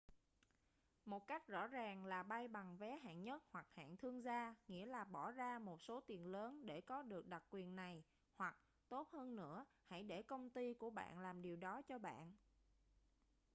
một cách rõ ràng là bay bằng vé hạng nhất hoặc hạng thương gia nghĩa là bỏ ra một số tiền lớn để có được đặc quyền này hoặc tốt hơn nữa hãy để công ty của bạn làm điều đó cho bạn